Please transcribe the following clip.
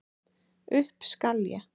Upp skal ég.